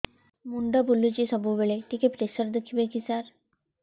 ମୁଣ୍ଡ ବୁଲୁଚି ସବୁବେଳେ ଟିକେ ପ୍ରେସର ଦେଖିବେ କି ସାର